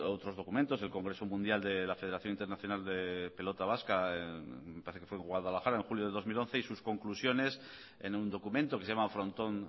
estos otros documentos el congreso mundial de la federación internacional de pelota vasca me parece que fue en guadalajara en julio de dos mil once y sus conclusiones en un documento que se llama frontón